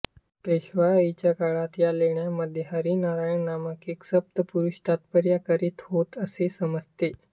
पेशवाईच्या काळात या लेण्यांमध्ये हरी नारायण नामक एका सत्पुरुष तपश्चर्या करीत होते असे समजते